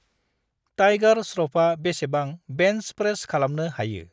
Tiger Shroff बेसेबां bench press खालामनो हायो।